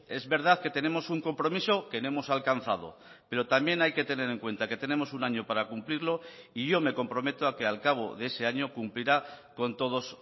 es verdad que tenemos un compromiso que no hemos alcanzado pero también hay que tener en cuenta que tenemos un año para cumplirlo y yo me comprometo a que al cabo de ese año cumplirá con todos